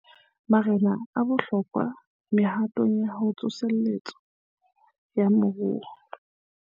Marena a bohlokwa mehatong ya tsoseletso ya moruo